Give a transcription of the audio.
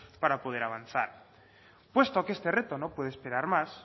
para poder avanzar puesto que este reto no puede esperar más